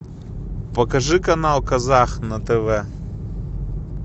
покажи канал казах на тв